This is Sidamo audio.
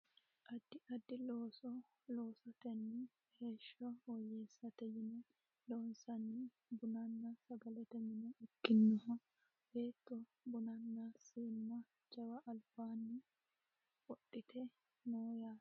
Addi addi looso loosatenni heeshsho woyyessate yine loonsanniha bununna sagalete mine ikkinoha beetto bunanna siinna jawa albaanni wodhite no yaate